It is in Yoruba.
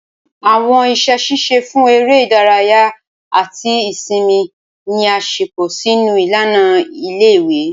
Awọn iṣẹ ṣiṣe fun ere idaraya ati isinmi ni a ṣepọ sinu ilana ìle-ìwe.